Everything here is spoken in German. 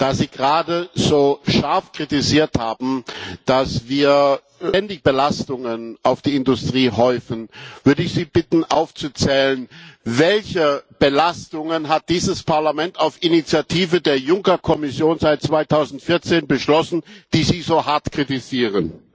Da Sie gerade so scharf kritisiert haben, dass wir ständig Belastungen auf die Industrie häufen, würde ich Sie bitten aufzuzählen Welche Belastungen hat dieses Parlament auf Initiative der Juncker Kommission seit 2014 beschlossen, die Sie so hart kritisieren?